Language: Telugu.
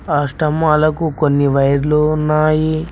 ఆ స్తంబాలకు కొన్ని వైర్లు ఉన్నాయి.